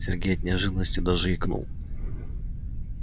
сергей от неожиданности даже икнул